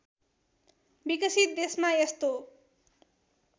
विकसित देशमा यस्तो